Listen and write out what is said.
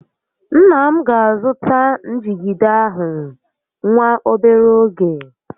Nna m ga azụta njigide ahụ nwa obere ógè